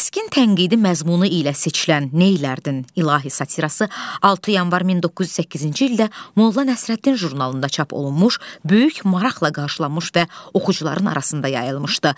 Kəskin tənqidi məzmunu ilə seçilən "Neylərdin, İlahi" satirası 6 yanvar 1908-ci ildə Molla Nəsrəddin jurnalında çap olunmuş, böyük maraqla qarşılanmış və oxucuların arasında yayılmışdı.